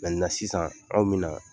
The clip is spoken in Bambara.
sisan anw minna.